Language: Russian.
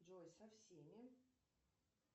джой со всеми